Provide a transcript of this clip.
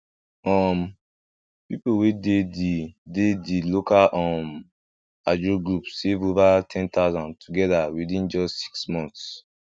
um people wey dey the dey the local um ajo group save over ten thousand together within just six months